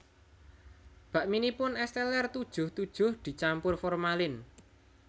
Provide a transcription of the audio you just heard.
Bakminipun Es Teller tujuh tujuh dicampur formalin